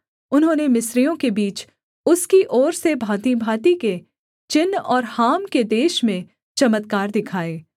उन्होंने मिस्रियों के बीच उसकी ओर से भाँतिभाँति के चिन्ह और हाम के देश में चमत्कार दिखाए